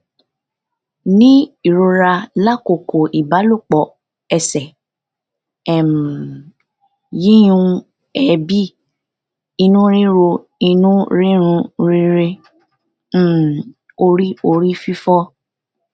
ni irora lakoko ibalopọ ẹsẹ um yiyún eebi inu riro inu rirun rirẹ um ori ori fifo